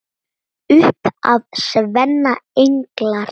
Upp af sveima englar.